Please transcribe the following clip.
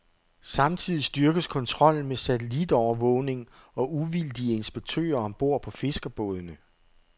Samtidig styrkes kontrollen med satellitovervågning og uvildige inspektører om bord på fiskerbådene.